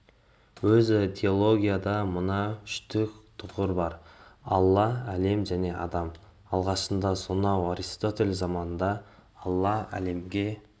өзі теологияда мына үштік тұғыр бар алла әлем және адам алғашында сонау аристотель заманында алла әлемге